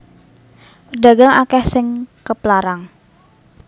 Pedagang akeh sing keplarang